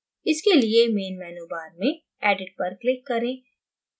इसके लिए main menu bar में edit पर click करें